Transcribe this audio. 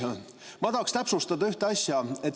Aga ma tahaksin täpsustada ühte asja.